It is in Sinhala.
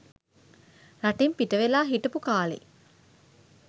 රටෙන් පිටවෙලා හිටපු කාළේ